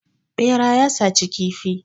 Ɓera ya saci kifi.